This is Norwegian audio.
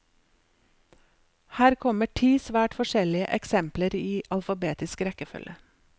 Her kommer ti svært forskjellige eksempler i alfabetisk rekkefølge.